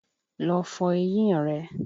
Lọ fọ eyín rẹ!